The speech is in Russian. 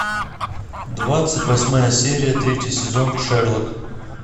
двадцать восьмая серия третий сезон шерлок